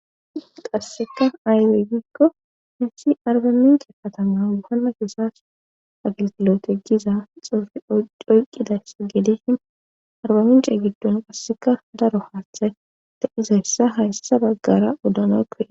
qasseka aybe gikko hessi arba minke katama yohanna keesas agiltilote giza xoofi doyqqidayssa geedeshi arbamincee giddon qasseka daro haaththay ta izayssa hayssa baggara wodanoykkoe